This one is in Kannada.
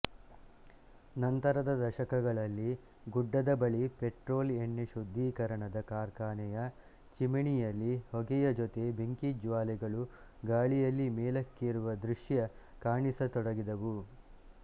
ನಂತರದ ದಶಕಗಳಲ್ಲಿ ಗುಡ್ಡದ ಬಳಿಪೆಟ್ರೋಲ್ ಎಣ್ಣೆ ಶುದ್ಧೀಕರಣದ ಕಾರ್ಖಾನೆ ಯ ಚಿಮಿನಿಯಲ್ಲಿ ಹೊಗೆಯಜೊತೆ ಬೆಂಕಿಜ್ವಾಲೆಗಳು ಗಾಳಿಯಲ್ಲಿ ಮೇಲಕ್ಕೇರುವ ದೃಷ್ಯ ಕಾಣಿಸತೊಡಗಿದವು